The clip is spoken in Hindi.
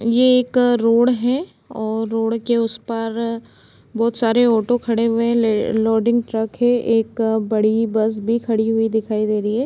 ये एक रोड़ है और रोड़ के उस पार बहुत सारे ओटो खड़े हुए हैं ले लोडिंग ट्रक है एक बड़ी बस भी खड़ी हुई दिखाई दे रही है।